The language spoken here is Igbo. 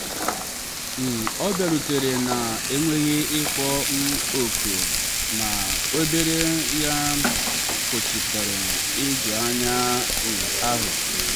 um ọ bịarutere na-enweghị ịkpọ um oku ma ebere ya kpochapụrụ ijuanya um ahụ.